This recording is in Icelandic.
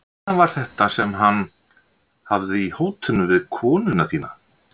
Hvenær var þetta sem hann. hafði í hótunum við konuna þína?